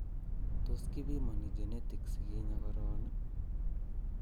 Tos kipimani genetic si kinyaa koron ii?